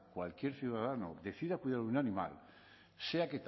cualquier ciudadano decida cuidar un animal